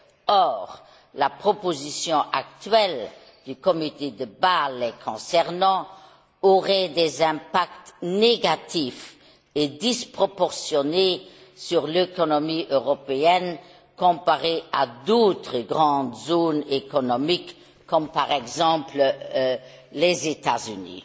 Or, la proposition actuelle du comité de Bâle les concernant aurait des impacts négatifs et disproportionnés sur l'économie européenne comparée à d'autres grandes zones économiques comme, par exemple, les États Unis.